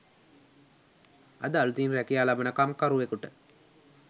අද අලුතින් රැකියා ලබන කම්කරුවකුට